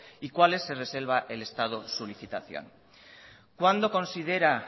y cuales se reserva el estado su licitación cuándo considera